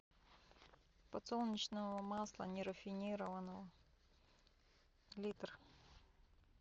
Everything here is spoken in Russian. подсолнечного масла нерафинированного литр